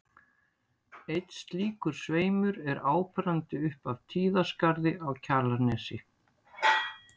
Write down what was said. Einn slíkur sveimur er áberandi upp af Tíðaskarði á Kjalarnesi.